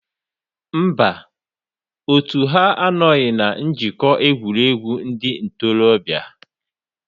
Mba, otu ha anọghị na Njikọ Egwuregwu Ndị Ntorobịa.